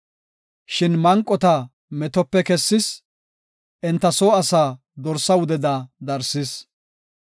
Shin manqota metope kessis; enta soo asaa dorsa wudeda darsis.